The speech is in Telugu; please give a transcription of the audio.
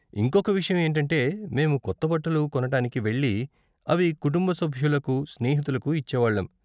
ఇంకొక విషయం ఏంటంటే మేము కొత్త బట్టలు కొనటానికి వెళ్లి అవి కుటుంబ సభులకు, స్నేహితులకు ఇచ్చేవాళ్ళం.